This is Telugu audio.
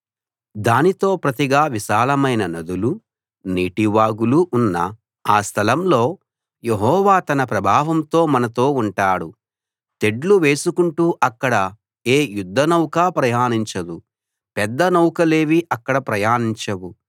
దానికి ప్రతిగా విశాలమైన నదులూ నీటి వాగులూ ఉన్న ఆ స్థలంలో యెహోవా తన ప్రభావంతో మనతో ఉంటాడు తెడ్లు వేసుకుంటూ అక్కడ ఏ యుద్ధనౌకా ప్రయాణించదు పెద్ద నౌకలేవీ అక్కడ ప్రయాణించవు